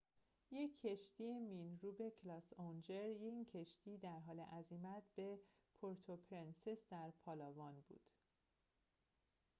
یک کشتی مین‌روب کلاس اونجر این کشتی در حال عزیمت به پورتوپرنسس در پالاوان بود